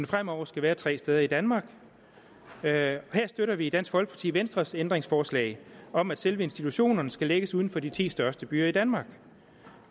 fremover skal være tre steder i danmark og her støtter vi i dansk folkeparti venstres ændringsforslag om at selve institutionerne skal lægges uden for de ti største byer i danmark